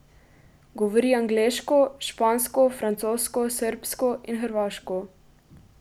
Govori angleško, špansko, francosko, srbsko in hrvaško.